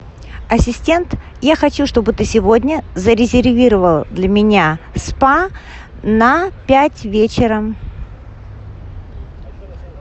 ассистент я хочу чтобы ты сегодня зарезервировал для меня спа на пять вечера